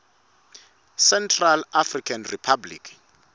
central african republic